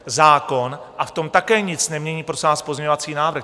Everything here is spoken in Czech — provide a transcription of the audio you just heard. Zákon, a v tom také nic nemění, prosím vás, pozměňovací návrh.